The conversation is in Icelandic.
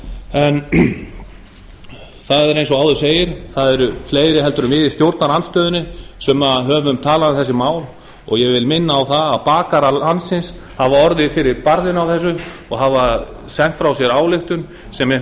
en það er eins og áður segir það eru fleiri en við í stjórnarandstöðunni sem höfum talað um þessi mál og ég vil minna á það að bakarar landsins hafa orðið fyrir barðinu þessu og hafa sent frá sér ályktun sem mér